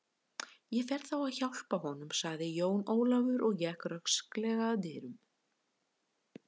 Ég fer þá að hjálpa honum, sagði Jón Ólafur og gekk rösklega að dyrunum.